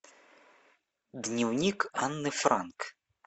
дневник анны франк